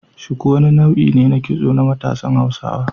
Shuku wani nau'I ne na kitso na matsan Hausawa.